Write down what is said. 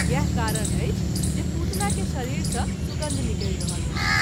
इएह कारण अछि जे पुतना के शरीर सँ सुगन्ध निकलि रहल अछि।